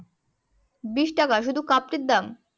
বিশ টাকা শুধু কাপটির দাম